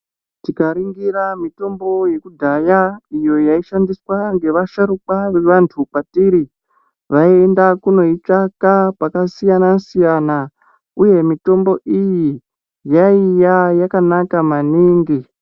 Tikaringira mutombo yekudhaya iyo yaishandiswa ngevasharukwa vevantu kwatiri Vaienda kunoitsvaka pakasiyana siyana uye mitombo iyi yaiya yakanaka maningi.